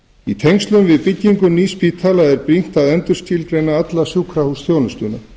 í tengslum við byggingu nýs spítala er brýnt að endurskilgreina alla sjúkrahúsþjónustuna